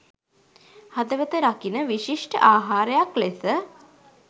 හදවත රකින විශිෂ්ට ආහාරයක් ලෙස